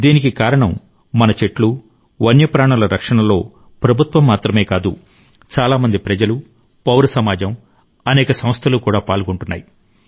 దీనికి కారణం మన చెట్లు వన్యప్రాణుల రక్షణలో ప్రభుత్వం మాత్రమే కాదు చాలా మంది ప్రజలు పౌర సమాజం అనేక సంస్థలు కూడా పాల్గొంటున్నాయి